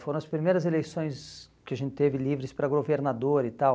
Foram as primeiras eleições que a gente teve livres para governador e tal.